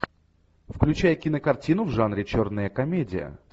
включай кинокартину в жанре черная комедия